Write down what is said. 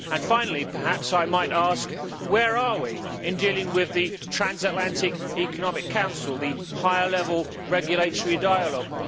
Finally I might ask where are we in dealing with the Transatlantic Economic Council, the higher level regulatory dialogue?